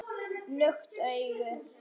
Lukt augu